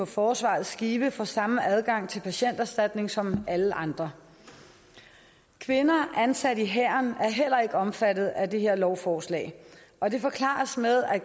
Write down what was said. forsvaret i skive får samme adgang til patienterstatning som alle andre kvinder ansat i hæren er heller ikke omfattet af det her lovforslag og det forklares med at